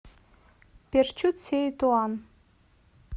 перчут сеи туан